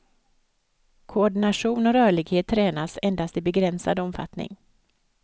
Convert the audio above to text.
Koordination och rörlighet tränas endast i begränsad omfattning.